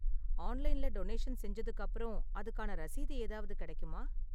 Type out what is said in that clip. ஆன்லைன்ல டொனேஷன் செஞ்சதுக்கு அப்பறம் அதுக்கான ரசீது ஏதாவது கிடைக்குமா?